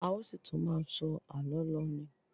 A ó ṣì tún má a sọ àlọ́ lọ ni.